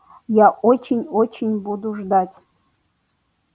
я очень очень буду ждать